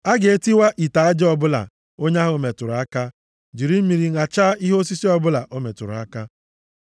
“ ‘A ga-etiwa ite aja ọbụla onye ahụ metụrụ aka, jiri mmiri ṅachaa ihe osisi ọbụla o metụrụ aka.